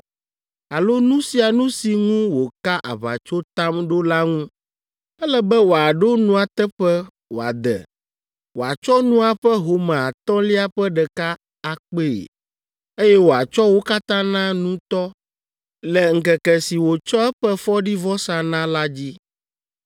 alo nu sia nu si ŋu wòka aʋatsotam ɖo la ŋu. Ele be wòaɖo nua teƒe wòade, wòatsɔ nua ƒe home atɔ̃lia ƒe ɖeka akpee, eye wòatsɔ wo katã na nutɔ le ŋkeke si wòtsɔ eƒe fɔɖivɔsa na la dzi.